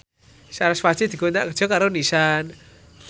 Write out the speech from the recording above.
sarasvati dikontrak kerja karo Nissan